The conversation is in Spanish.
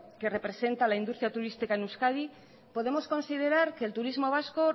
que representa la industria turística en euskadi podemos considerar que el turismo vasco